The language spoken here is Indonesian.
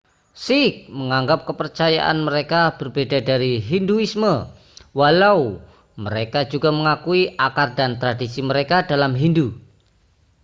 sikh menganggap kepercayaan mereka berbeda dari hinduisme walau mereka juga mengakui akar dan tradisi mereka dalam hindu